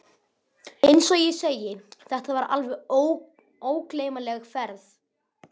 Eins og ég segi. þetta var alveg ógleymanleg ferð.